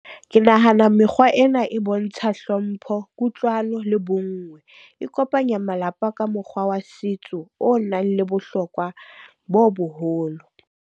Ke nahana mekgwa ena e bontsha hlompho, kutlwano le bonngwe. E kopanya malapa ka mokgwa wa setso o nang le bohlokwa bo boholo.